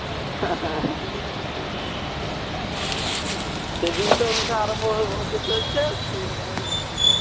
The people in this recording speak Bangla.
সেদিন তো অনুষ্ঠান আরম্ভ হতে চলছে সেইরকম ভাবে বৃষ্টি